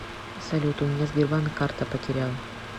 салют у меня сбербанк карта потерял